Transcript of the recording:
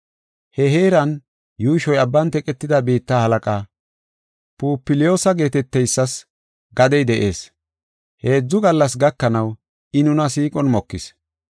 He heeran yuushoy abban teqetida biitta halaqaa, Pupliyoosa geeteteysas gadey de7ees; heedzu gallas gakanaw I nuna siiqon mokis.